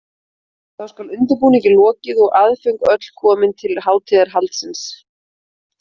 Þá skal undirbúningi lokið og aðföng öll komin til hátíðahaldsins.